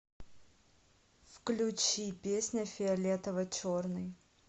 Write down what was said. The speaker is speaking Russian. включи песня фиолетово черный